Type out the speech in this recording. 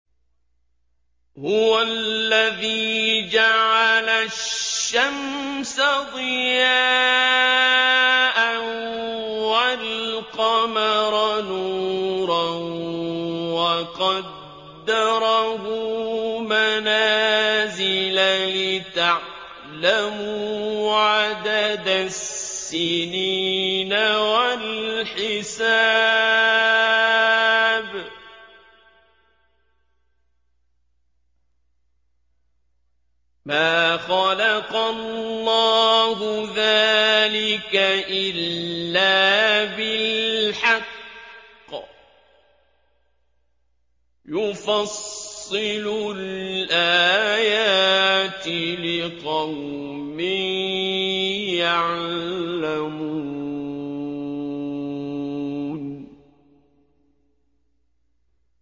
هُوَ الَّذِي جَعَلَ الشَّمْسَ ضِيَاءً وَالْقَمَرَ نُورًا وَقَدَّرَهُ مَنَازِلَ لِتَعْلَمُوا عَدَدَ السِّنِينَ وَالْحِسَابَ ۚ مَا خَلَقَ اللَّهُ ذَٰلِكَ إِلَّا بِالْحَقِّ ۚ يُفَصِّلُ الْآيَاتِ لِقَوْمٍ يَعْلَمُونَ